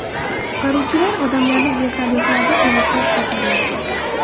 Qutqaruvchilar odamlarni vertolyotlarda evakuatsiya qilmoqda.